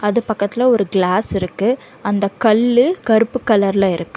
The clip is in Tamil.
அது பக்கத்ல ஒரு கிளாஸ் இருக்கு அந்த கல்லு கருப்பு கலர்ல இருக்கு.